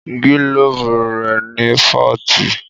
Gílóbù rẹ̀ ní fọ́ọ̀tì